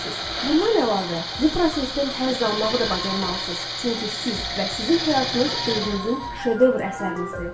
Bundan əlavə, bu prosesdən həzz almağı da bacarmalısınız, çünki siz və sizin həyatınız özünüzün şedevr əsərinizdir.